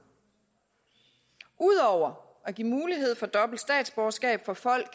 ud over at give mulighed for dobbelt statsborgerskab for folk